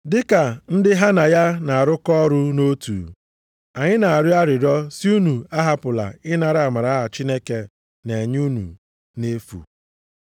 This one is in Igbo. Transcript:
Dịka ndị ha na ya na-arụkọ ọrụ nʼotu, anyị na-arịọ arịrịọ sị unu ahapụla ịnara amara a Chineke na-enye unu nʼefu.